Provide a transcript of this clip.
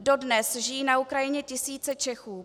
Dodnes žijí na Ukrajině tisíce Čechů.